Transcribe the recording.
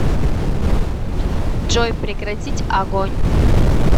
джой прекратить огонь